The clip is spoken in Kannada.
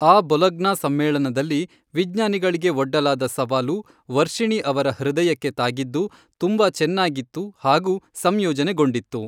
ಆ ಬೊಲಗ್ನಾ ಸಮ್ಮೇಳನದಲ್ಲಿ ವಿಜ್ಞಾನಿಗಳಿಗೆ ಒಡ್ಡಲಾದ ಸವಾಲು, ವರ್ಷಿಣಿ ಅವರ ಹೃದಯಕ್ಕೆ ತಾಗಿದ್ದು, ತುಂಬಾ ಚೆನ್ನಾಗಿತ್ತು ಹಾಗೂ ಸಂಯೋಜನೆಗೊಂಡಿತ್ತು.